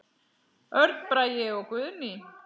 Örn Bragi og Guðný.